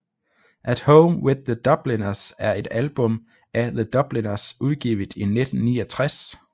At Home with The Dubliners er et album af The Dubliners udgivet i 1969